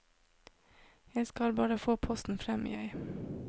Jeg skal bare få posten frem, jeg.